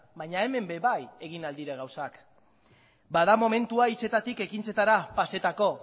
baina hemen ere egin ahal dira gauzak bada momentua hitzetatik ekintzara pasatzeko